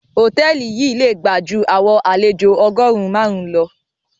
Hotẹẹli yi le gba jú àwọn àlejo ọgọrun màrun lọ.